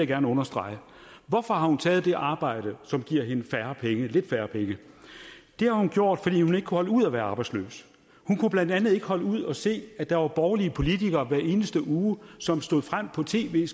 gerne understrege hvorfor har hun taget det arbejde som giver hende lidt færre penge det har hun gjort fordi hun ikke kunne holde ud at være arbejdsløs hun kunne blandt andet ikke holde ud at se at der var borgerlige politikere hver eneste uge som stod frem på tv